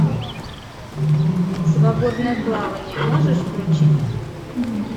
свободное плавание можешь включить